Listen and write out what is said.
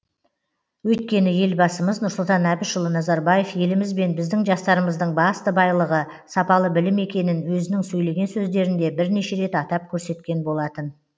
өйткені елбасымыз нұрсұлтан әбішұлы назарбаев еліміз бен біздің жастарымыздың басты байлығы сапалы білім екенін өзінің сөйлеген сөздерінде бірнеше рет атап көрсеткен болатын